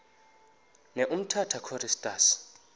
ne umtata choristers